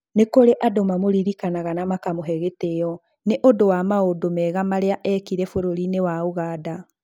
Nĩ kũrĩ andũ mamũririkanaga na makamũhe gĩtĩo nĩ ũndũ wa maũndũ mega marĩa eekire bũrũri-inĩ wa Ũganda.